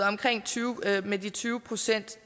med de tyve procent